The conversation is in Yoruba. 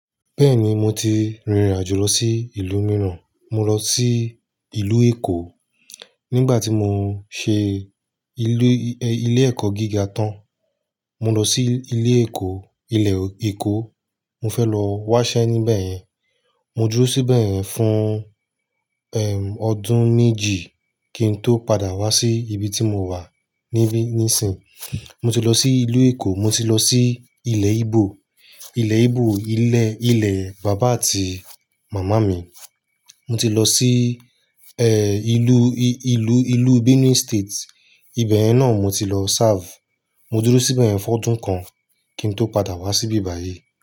Bẹ́ẹ̀ni mo ti rìnrìn àjò lọ sí ìlú mìíràn, mo lọ sí ìlú Èkó. Nígbà tí mo ń ṣe ilé, ilé ẹ̀kọ́ gíga tán, mo lọ sí ilé Èkó, ilẹ̀ Èkó. Mo fẹ́ lọ wá ṣẹ́ níbẹ̀ yẹn. Mo dúró síbẹ̀ fún, ẹm, ọdún méjì kí n tó padà wá sí ibi tí mo wà níbí níìsín. Mo ti lọ sí ìlú Èkó, mo ti lọ sí ilé Íbò. Ilé Íbò, ilé, ilé bàbá àti màmá mi. Mo ti lọ sí, ẹ́, ìlú, ìlú, ìlú Benin State. Ibẹ̀ yẹn náà mo ti lọ serve. Mo dúró síbẹ̀ fún ọdún kan kí n tó padà wá sí ibi báyìí.